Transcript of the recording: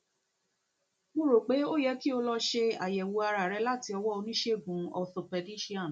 mo rò pé ó yẹ kí o lọ ṣe àyẹwò ara rẹ láti ọwọ oníṣègùn orthopaedician